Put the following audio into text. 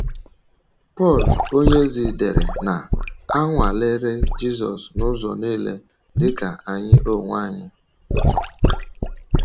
Pọl onyeozi dere na ‘ a nwalere Jizọs n’ụzọ nile dị ka anyị onwe anyị. ’